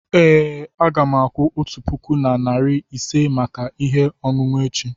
ee, a ga m akwụ otu puku na narị ise maka ihe ọṅụṅụ echi.